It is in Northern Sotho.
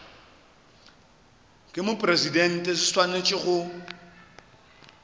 ke mopresidente se swanetše go